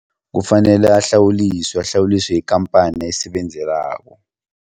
Kufanele ahlawuliswe ahlawuliswe yikhamphani ayisebenzelako.